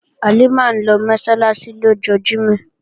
Halimah ń lọ Mọ́sálásí lọ́jọ́ Jímọ̀